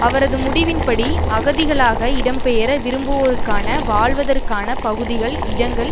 அவரது முடிவின்படி அகதிகளாக இடம்பெயர விரும்புவோருக்கான வாழ்வதற்கான பகுதிகள் இடங்கள்